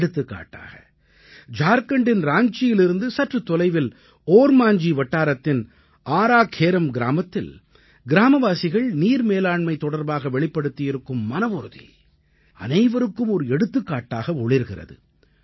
எடுத்துக்காட்டாக ஜார்க்கண்டின் ராஞ்சியிலிருந்து சற்றுத் தொலைவில் ஓர்மாஞ்ஜீ வட்டாரத்தின் ஆரா கேரம் கிராமத்தில் கிராமவாசிகள் நீர் மேலாண்மை தொடர்பாக வெளிப்படுத்தியிருக்கும் மனவுறுதி அனைவருக்கும் ஒரு எடுத்துக்காட்டாக ஒளிர்கிறது